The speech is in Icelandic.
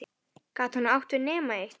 Gat hún átt við nema eitt?